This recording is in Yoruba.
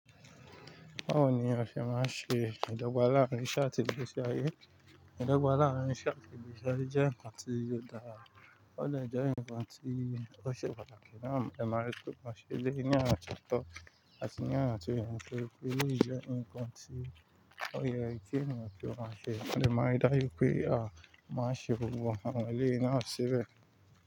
Báwo ni a fi máa ń ṣe ìdọ́gba láàárín iṣe àtì igbesi ayé? Ìdọ́gba láàárín iṣe àtì igbesi ayé jẹ́ ǹkan tí ò dára, ó dè jẹ́ ǹkan tí ó ṣe pàtàkì náà. Ẹ máa rí pé mọ̀ ṣe lé yí ni ànà tiọ to, àti ní ànà tí ènìyàn ma rí pé eléyìí jẹ́ ǹkan tí ó yẹ kí ènìyàn ki kiọ̀ ma ṣe. A lè máa rí dá ju ipé a máa ṣe wò àwọn ẹlẹ́ni náà sébẹ̀